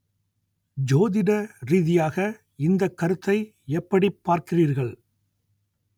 ஜோதிட ரீதியாக இந்தக் கருத்தை எப்படிப் பார்க்கிறீர்கள்